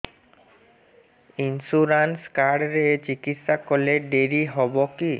insurance card ରେ ଚିକିତ୍ସା କଲେ ଡେରି ହବକି